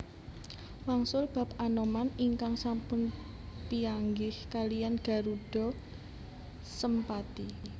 Wangsul bab Anoman ingkang sampun pianggih kaliyan Garudha Sempati